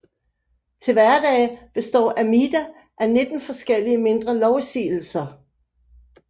Til hverdage består Amida af 19 forskellige mindre lovsigelser